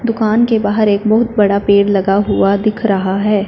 दुकान के बाहर एक बहुत बड़ा पेड़ लगा हुआ दिख रहा है।